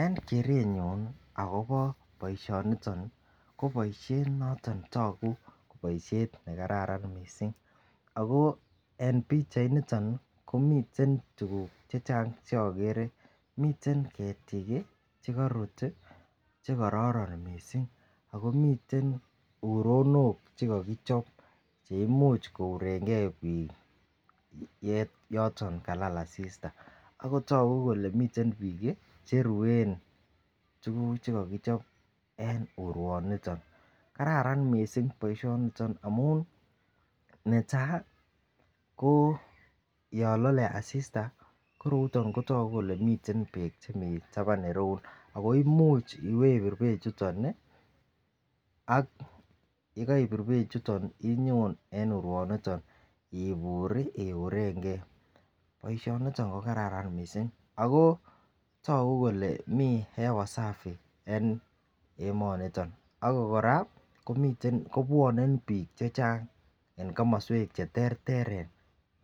En kerenyun nii akobo boishoniton nii ko boishet noton netoku ko boishet nekararan missing ako en pichainiton nii ko miten tukuk che chang cheokere miten ketik kii chekorut tii chekororon missing ako miilten uronok cheko kochob cheimuch kourengee bik yoton kalal asista akotoku kole miten bik Kii cheruen tukuk chekokichobe en uruoniton. Kararan missing boishoniton amun netai ko yon lole asista ko royuton kotoku kole miten beek chemii taban ireyuu ako imuch ibebir beek chuton nii ak yekoibir beek chuton inyon en uruoniton iburi iurengee. Boishoni ko kararan missing ako toku kole mii hewa safi en emoniton, ako Koraa komiten kibwone bik chechang en komoswek cheterter